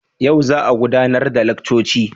Yau za a gudanar da laccoci?